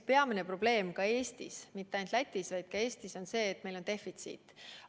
Peamine probleem mitte ainult Lätis, vaid ka Eestis on see, et meil on vaktsiinide defitsiit.